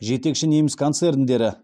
жетекші неміс концерндері